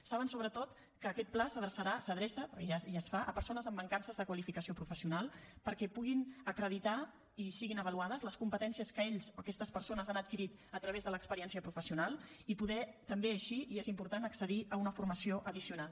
saben sobretot que aquest pla s’adreçarà s’adreça perquè ja es fa a persones amb mancances de qualificació professional perquè pugin acreditar i siguin avaluades les competències que ells o aquestes persones han adquirit a través de l’experiència professional i poder també així i és important accedir a una formació addicional